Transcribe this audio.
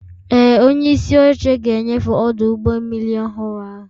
Ee, onyeisi oche ga-enyefe ọdụ ụgbọ mmiri ọhụrụ ahụ